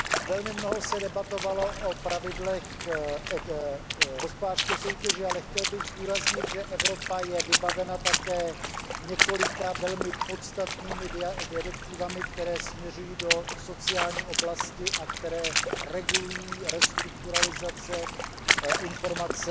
Velmi mnoho se debatovalo o pravidlech hospodářské soutěže, ale chtěl bych zdůraznit, že Evropa je vybavena také několika velmi podstatnými směrnicemi, které směřují do sociální oblasti a které regulují restrukturalizace, informování